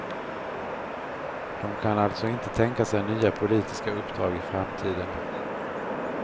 De kan alltså inte tänka sig nya politiska uppdrag i framtiden.